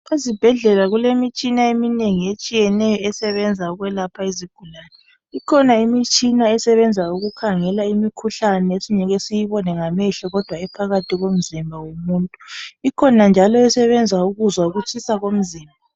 Ezibhedlela kulemitshina eminengi etshiyeneyo esebenza ukwelapha izigulane . Ikhona imitshina esebenza ukukhangela imikhuhlane esingeke siyibone ngamehlo kodwa ephakathi komzimba womuntu . Ikhona njalo esebenza ukuzwa ukutshisa komzimba.